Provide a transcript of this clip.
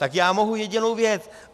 Tak já mohu jedinou věc.